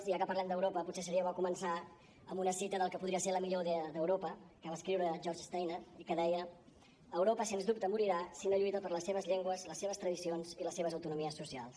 i ja que parlem d’europa potser seria bo començar amb una cita del que podria ser la millor idea d’europa que va escriure george steiner i que deia europa sens dubte morirà si no lluita per les seves llengües les seves tradicions i les seves autonomies socials